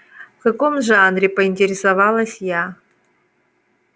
в каком жанре поинтересовалась я